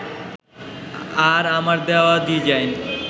আর আমার দেওয়া ডিজাইন